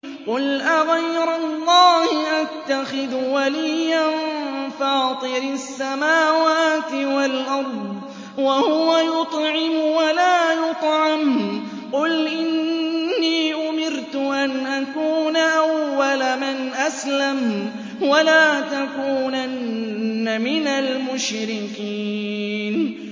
قُلْ أَغَيْرَ اللَّهِ أَتَّخِذُ وَلِيًّا فَاطِرِ السَّمَاوَاتِ وَالْأَرْضِ وَهُوَ يُطْعِمُ وَلَا يُطْعَمُ ۗ قُلْ إِنِّي أُمِرْتُ أَنْ أَكُونَ أَوَّلَ مَنْ أَسْلَمَ ۖ وَلَا تَكُونَنَّ مِنَ الْمُشْرِكِينَ